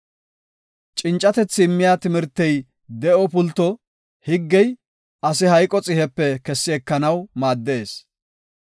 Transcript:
Cincatethi immiya timirtey de7o pulto; higgey ase hayqo xihepe kessi ekanaw maaddees.